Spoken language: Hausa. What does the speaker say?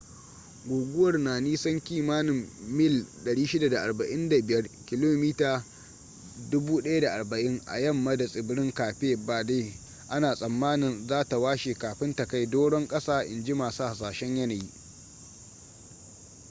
guguwar na nisan kimanin mil 645 kilomita 1040 a yamma da tsibirin cape verde ana tsammanin za ta washe kafin ta kai doron kasa inji masu hasashen yanayi